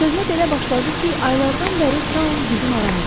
Sözünə belə başladı ki, aylardan bəri taun bizim aramızdadır.